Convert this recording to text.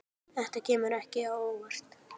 Þetta kemur ekki á óvart.